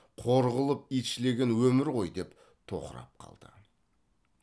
қор қылып итшілеген өмір ғой деп тоқырап қалды